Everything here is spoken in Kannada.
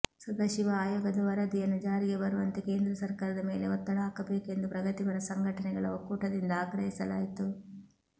ಸದಾಶಿವ ಆಯೋಗದ ವರದಿಯನ್ನು ಜಾರಿಗೆ ಬರುವಂತೆ ಕೇಂದ್ರ ಸರ್ಕಾರದ ಮೇಲೆ ಒತ್ತಡ ಹಾಕಬೇಕು ಎಂದು ಪ್ರಗತಿಪರ ಸಂಘಟನೆಗಳ ಒಕ್ಕೂಟದಿಂದ ಆಗ್ರಹಿಸಲಾಯಿತು